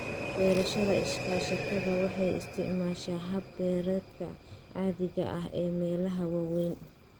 Beerashada iskaashatada waxay isticmaashaa habab beereedka caadiga ah ee meelaha waaweyn.